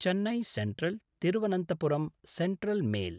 Chennai सेन्ट्रल्–तिरुवनन्तपुरं central mail